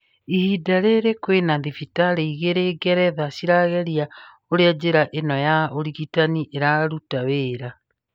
Ihinda rĩrĩ kwĩna thibitarĩ ĩgĩrĩ Ngeretha cirageria ũrĩa njĩra ĩno ya ũrigitani ĩraruta wĩra.